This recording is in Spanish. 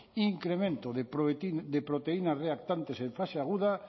incremento de proteínas reactantes en fase aguda